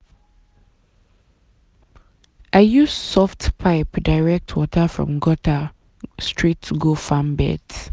i use soft pipe direct water from gutter from gutter straight go farm beds.